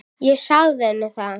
Ég sagði henni það.